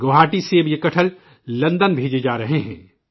گوہاٹی سے اب یہ کٹہل لندن بھیجے جا رہے ہیں